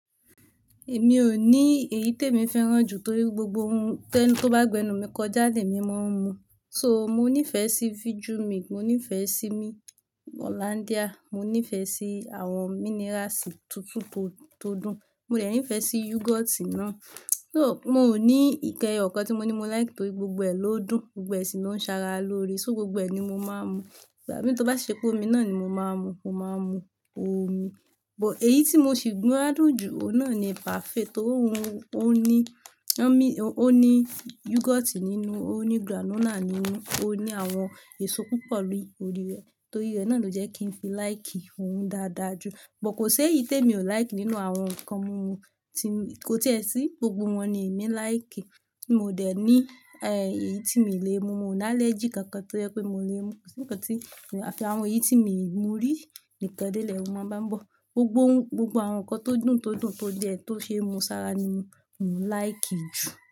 Èmi ò ní èyí te èmi fẹ́ràn jù torí gbogbo ohun tó bá gbẹnu mi kọ já, ni emi máa ń mu. So mo nífẹ̀ẹ́ sí vijumilk, mo nífẹ̀ẹ́ si hollandia, mo nífẹ̀ẹ́ sí àwọn minerals tuntun tó dùn, mo dẹ̀ nífẹ̀ẹ́ sí yogoti náà. So, mi ò ní ǹkan ẹyọkan tí mo ní mo like, torí gbogbo ẹ lódùn gbogbo ẹ sì ló ń ṣara lóore. So gbogbo ẹ̀ ni mo máa ń mu. Ìgbàmí tó bá sì ṣepe omi náà ni mo máa mu, mo máa mu omi. But èyí tí mo sì gbádùn jù, ohun náà ni paafe torí ó ní yogoti nínú, ó ní granula nínú, ó ní àwọn èso púpọ̀ ni órí rẹ̀. Torí rẹ̀ náà ló jẹ́ kí n fi like ohun dáadáa jù. But kò sé èyí tí èmi ò like nínú àwọn nǹkan mumu kò tí è sí, gbogbo wọn ni èmi like. Mi ò dẹ̀ ní èyí tí mi le mu, mo ò ní allergy kankan tí ó jẹ pé mi ò lè mú, kò sí nǹkan tí àfi àwọn èyí tí mi i mú rí nìkan dé lèru máa bá ń bọ̀. Gbogbo ohun, gbogbo àwọn nǹkan tó dùn, tó dùn, tó jẹ ohun tó ṣe é mú ṣara ni mo like jù.